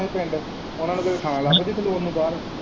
ਆਪਣੋ ਪਿੰਡ ਉਹਨਾਂ ਨੂੰ ਥਾਂ ਲੱਭ ਗਈ ਖਲੋਣ ਨੂੰ ਬਾਹਰ।